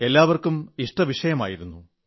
എല്ലാവർക്കും ഇഷ്ടവിഷയമായിരുന്നു